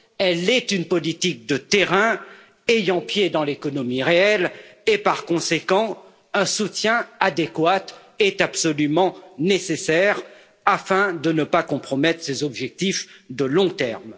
Elle est une politique de terrain ayant pied dans l'économie réelle et, par conséquent, un soutien adéquat est absolument nécessaire afin de ne pas compromettre ses objectifs de long terme.